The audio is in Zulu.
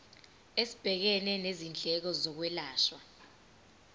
esibhekene nezindleko zokwelashwa